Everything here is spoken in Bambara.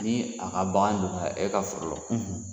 Ni a ka bagan donna e ka foro lɔ